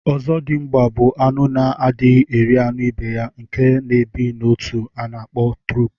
Ọzọdimgba bu anụ na adighi eri anụ ibeya nke na ebi na otu ana akpọ turup